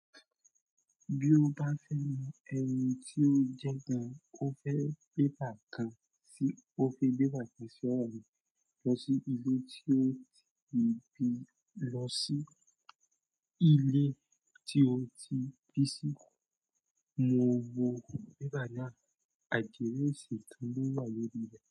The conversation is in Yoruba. Bí o bá fẹ́ mọ ẹni tí ó jẹ gan, o fẹ́ bébà kan sí, o fi bébà kàn sí ọ̀ràn lọ sí ilé tí ó ti ibi lọ sí ilé tí ó ti bí sí. Mo wo bébà náà, àdìrẹsì tún wà lórí rẹ̀